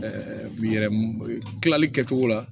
yɛrɛ kilali kɛ cogo la